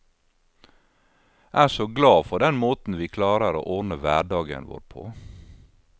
Er så glad for den måten vi klarer å ordne hverdagen vår på.